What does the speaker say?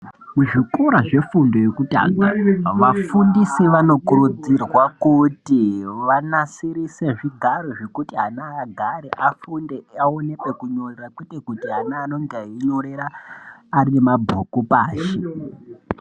Muzvikora zvefundo yekutanga vafundisi vanokurudzirwa kuti vanasirise zvigara zvekuti ana agare afunde aone pekunyorera kwete kuti ana anenge einyorera arimabhuku pashi.